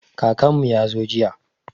Kakanmu ya zo jiya.